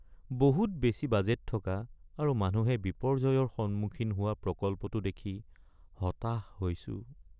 বহুত বেছি বাজেট থকা আৰু মানুহে বিপৰ্যয়ৰ সন্মুখীন হোৱা প্ৰকল্পটো দেখি হতাশ হৈছোঁ।